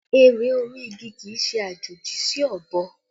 Ère orí igi kì í ṣe àjòjì sí ọ̀bọ